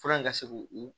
Fura in ka se k'u u